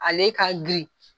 Ale ka girin.